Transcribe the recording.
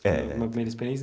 É. Uma primeira experiência.